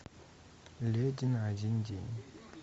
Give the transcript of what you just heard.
леди на один день